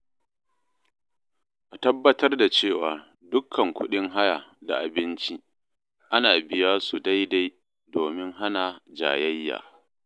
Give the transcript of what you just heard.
A tabbatar da cewa dukkan kuɗin haya da abinci ana biya su daidai domin hana jayayya.